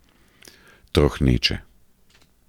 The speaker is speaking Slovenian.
Trohneče.